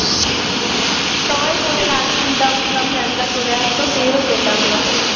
সবাই phone গান শুনতাম আমরা mam রা চলে আসত টের পেতাম না